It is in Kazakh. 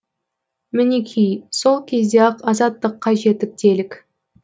мінекей сол кезде ақ азаттыққа жеттік делік